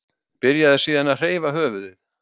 Byrjaði síðan að hreyfa höfuðið.